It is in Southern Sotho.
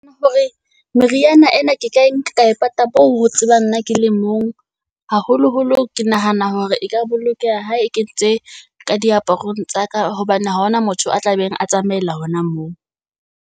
Hore meriana ena ke ka e nka e pata moo ho tsebang nna ke le mong. Haholo holo ke nahana hore e ka bolokeha ha e kentse ka diaparong tsa ka. Hobane ha hona motho a tla beng a tsamaela hona moo.